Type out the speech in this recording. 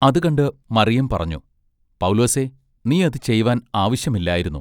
അതു കണ്ട് മറിയം പറഞ്ഞു:-- പൗലോസേ നീ അത് ചെയ്‌വാൻ ആവശ്യമില്ലായിരുന്നു.